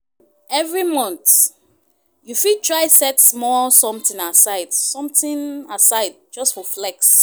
Evri month, yu fit try set small somtin aside something aside just for flex.